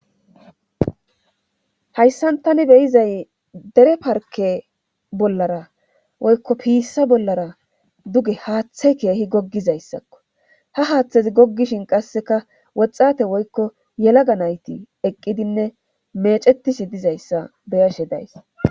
Hayssan tani beyizay dere parke bollara woykko piissa bollara duge haaththe keehi goggizayssakko ha haaththezi goggishin qasseka woxate woykko yelaga nayti eqqidinne meecetisi dizayssa beyashe days.